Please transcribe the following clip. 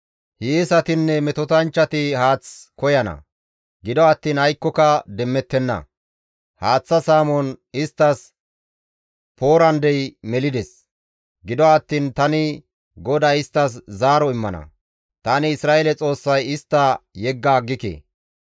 Hiyeesatinne metotanchchati haath koyana; gido attiin aykkoka demmettenna; haaththa saamon isttas poorandey melides; Gido attiin tani GODAY isttas zaaro immana; tani Isra7eele Xoossay istta yegga aggike.